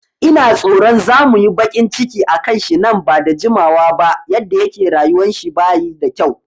Ina tsoro za muyi baƙin ciki akan shi nan bada jimawa ba, yadda yake rayuwan shi bayi da kyau